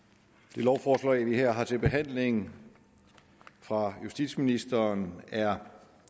det lovforslag vi her har til behandling fra justitsministeren er